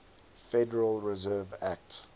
federal reserve act